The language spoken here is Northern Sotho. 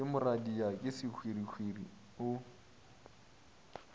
ke moradia ke sehwirihwiri o